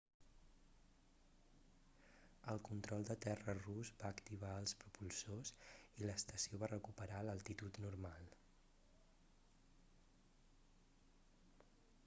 el control de terra rus va activar els propulsors i l'estació va recuperar l'altitud normal